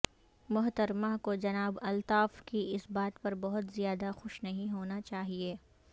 محترمہ کو جناب الطاف کی اس بات پر بہت زیادہ خوش نہیں ہونا چاہیئے